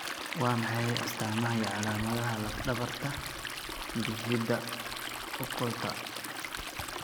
Waa maxay astaamaha iyo calaamadaha lafdhabarta bifida occulta?